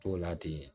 T'o la ten